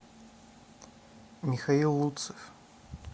михаил луцев